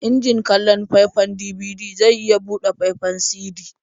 Injin kallon faifan DVD zai iya buɗe faifan CD.